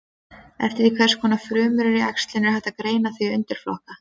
Eftir því hvers konar frumur eru í æxlinu er hægt að greina þau í undirflokka.